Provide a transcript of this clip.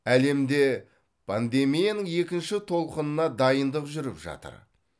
әлемде пандемияның екінші толқынына дайындық жүріп жатыр